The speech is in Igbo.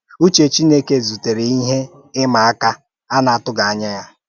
Ùchè Chìnékè zùtèrè ìhè ímà àkà a na-atụghị ànyà ya.